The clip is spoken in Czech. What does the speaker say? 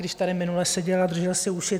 Když tady minule seděl a držel si uši.